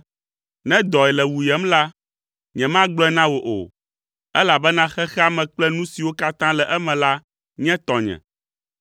Ne dɔe le wuyem la, nyemagblɔe na wò o, elabena xexea me kple nu siwo katã le eme la nye tɔnye.